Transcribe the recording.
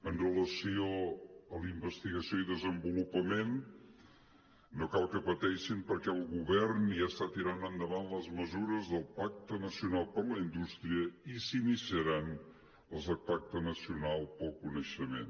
amb relació a la investigació i desenvolupament no cal que pateixin perquè el govern ja està tirant endavant les mesures del pacte nacional per la indústria i s’ini·ciaran les del pacte nacional pel coneixement